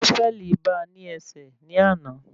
Sọ́fẹ̀lì ba ní ẹsẹ̀ ní àna